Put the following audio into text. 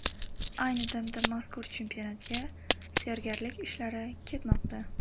Ayni damda mazkur chempionatga tayyorgarlik ishlari ketmoqda.